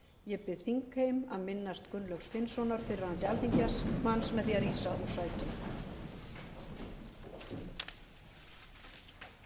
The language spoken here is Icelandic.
ég bið þingheim að minnast gunnlaugs finnssonar fyrrverandi alþingismanns með því að rísa úr sætum